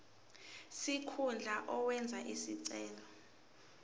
sikhundla owenze isicelo